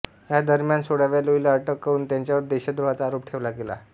ह्या दरम्यान सोळाव्या लुईला अटक करून त्याच्यावर देशद्रोहाचा आरोप ठेवला गेला